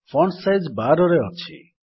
font size 12 ରେ ଅଛି